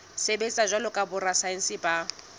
sebetsa jwalo ka borasaense ba